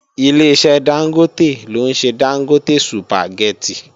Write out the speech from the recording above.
Ileṣẹ́ Dángótè ló ń ṣe Dángótè sùpàgẹ́tì